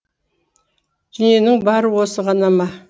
дүниенің бары осы ғана ма